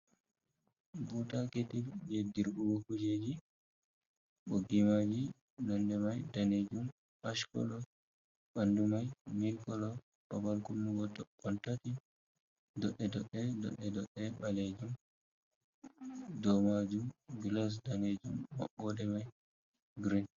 "Buuta ketil" jey dirɓugo kujeeji, ɓoggi maaji nonnde may daneejum "ashkolo" ɓanndu may "milkolo", babal kunnugo toɓɓon tati doɗɗe-doɗɗe, doɗɗe-doɗɗe ɓaleejum, dow maajum "gilas" daneejum maɓɓoode may "girin".